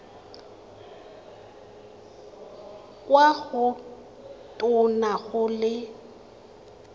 kwa go tona go le